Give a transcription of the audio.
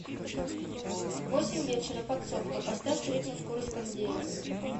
в восемь вечера подсобка поставь среднюю скорость кондея